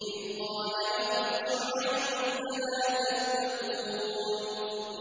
إِذْ قَالَ لَهُمْ شُعَيْبٌ أَلَا تَتَّقُونَ